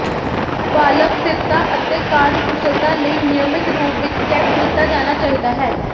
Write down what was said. valve ਸਥਿਰਤਾ ਅਤੇ ਕਾਰਜਕੁਸ਼ਲਤਾ ਲਈ ਨਿਯਮਤ ਰੂਪ ਵਿੱਚ ਚੈੱਕ ਕੀਤਾ ਜਾਣਾ ਚਾਹੀਦਾ ਹੈ